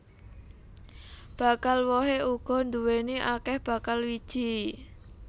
Bakal wohé uga nduwèni akèh bakal wiji